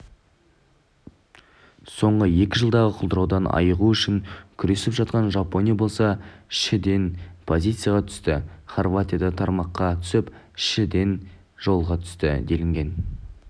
соңғы екі жылдағы құлдыраудан айығу үшін күресіп жатқан жапония болса шіден позицияға түсті хорватия да тармаққа түсіп шіден жолға түсті делінген